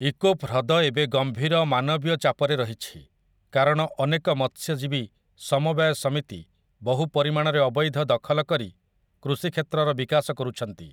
ଇକୋପ୍ ହ୍ରଦ ଏବେ ଗମ୍ଭୀର ମାନବୀୟ ଚାପରେ ରହିଛି, କାରଣ ଅନେକ ମତ୍ସ୍ୟଜୀବୀ ସମବାୟ ସମିତି ବହୁ ପରିମାଣରେ ଅବୈଧ ଦଖଲ କରି କୃଷି କ୍ଷେତ୍ରର ବିକାଶ କରୁଛନ୍ତି ।